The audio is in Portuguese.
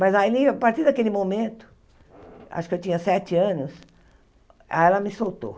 Mas ali a partir daquele momento, acho que eu tinha sete anos, aí ela me soltou.